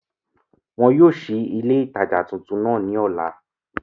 Wọn yóò sí ilé ìtajà tuntun náà ní ọ̀la